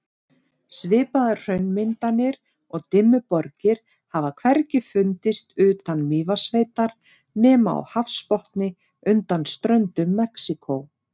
Svipaðar hraunmyndanir og Dimmuborgir hafa hvergi fundist utan Mývatnssveitar nema á hafsbotni undan ströndum Mexíkó.